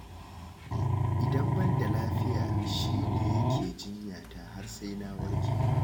Idan ban da lafiya shi ne yake jinya ta har sai na warke.